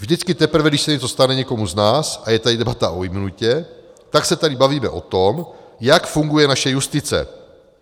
Vždycky teprve, když se něco stane někomu z nás a je tady debata o imunitě, tak se tady bavíme o tom, jak funguje naše justice."